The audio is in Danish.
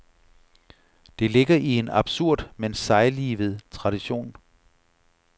Det ligger i en absurd, men sejlivet tradition.